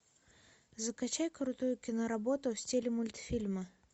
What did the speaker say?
закачай крутую киноработу в стиле мультфильма